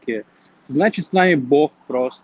пец значит с нами бог прос